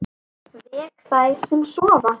Vek þær sem sofa.